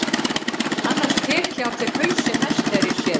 Annars tek ég af þér hausinn næst þegar ég sé þig.